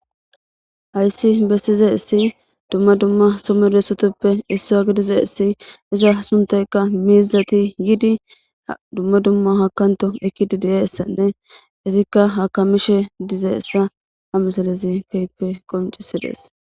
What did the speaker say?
hayssi bessize issi dumma dumma somedossotoppe issa a gidize issi iza suntaykka miizati yidi dumma dumma hakanto ekidida essanne itikka hakamishe dize essa a misalezi keyppe qoncisidees